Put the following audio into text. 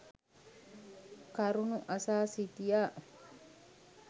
කරුණු අසා සිටියා.